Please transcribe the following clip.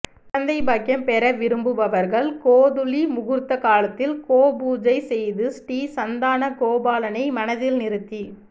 குழந்தை பாக்கியம்பெற விரும்புபவர்கள் கோதூளி முகூர்த்த காலத்தில் கோபூஜை செய்து ஸ்ரீ சந்தான கோபாலனை மனதில் நிறுத்தி